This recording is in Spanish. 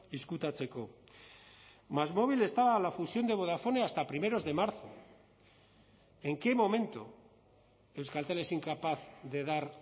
ezkutatzeko másmóvil estaba a la fusión de vodafone hasta primeros de marzo en qué momento euskaltel es incapaz de dar